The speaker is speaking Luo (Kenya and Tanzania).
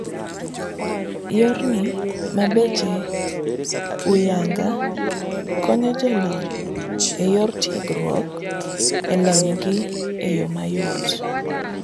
Yorni ma beche ohuyanga, konyo jolony eyor tiegruok elonygi eyoo mayot.